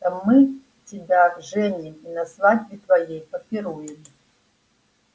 мы тебя женим и на свадьбе твоей попируем